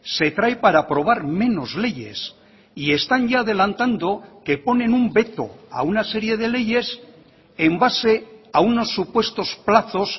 se trae para aprobar menos leyes y están ya adelantando que ponen un veto a una serie de leyes en base a unos supuestos plazos